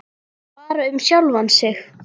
Bara um sjálfan sig.